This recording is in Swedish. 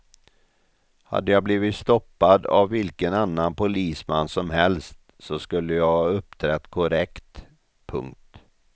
Hade jag blivit stoppad av vilken annan polisman som helst skulle jag ha uppträtt korrekt. punkt